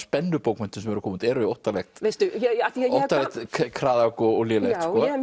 spennubókmenntum sem eru að koma út eru óttalegt kraðak og lélegt